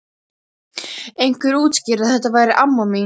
Einhver útskýrði að þetta væri amma mín.